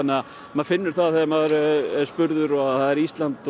maður finnur það þegar maður er spurður og Ísland